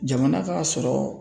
Jamana ka sɔrɔ